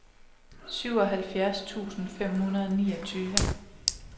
syvoghalvfjerds tusind fem hundrede og niogtyve